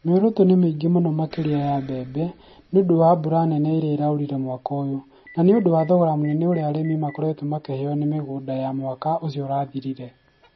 Mĩoroto nĩ mĩingĩ mũno makĩria ya mbembe, nĩ ũndũ wa mbura nene ĩrĩa ĩraurire mwaka ũyũ. Na nĩ ũndũ wa thogora mũnene ũrĩa arĩmi makoretwo makĩheo nĩ mĩgũnda Ya mwaka ũcio ũrathirire.